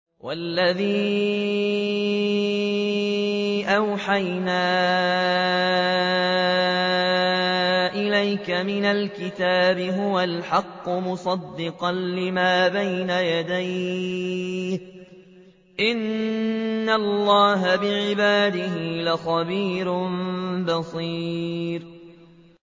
وَالَّذِي أَوْحَيْنَا إِلَيْكَ مِنَ الْكِتَابِ هُوَ الْحَقُّ مُصَدِّقًا لِّمَا بَيْنَ يَدَيْهِ ۗ إِنَّ اللَّهَ بِعِبَادِهِ لَخَبِيرٌ بَصِيرٌ